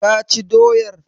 Ka ci doyar?